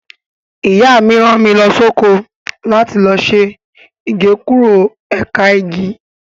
Ìyá mi rán mi lọ sóko láti lọ ṣe Igékúrò ẹ̀ka igi.